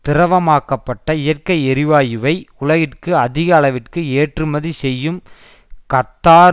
திரவமாக்கப்பட்ட இயற்கை எரிவாயுவை உலகிற்கு அதிக அளவிற்கு ஏற்றுமதி செய்யும் கத்தார்